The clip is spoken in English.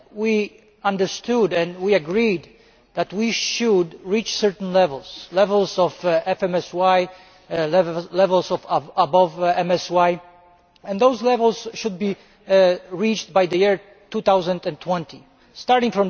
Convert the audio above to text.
it we understood and we agreed that we should reach certain levels, levels of FMSY levels above MSY, and those levels should be reached by the year 2020. Starting